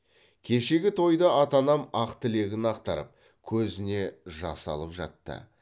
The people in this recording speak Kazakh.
кешегі тойда ата анам ақ тілегін ақтарып көзіне жас алып жатты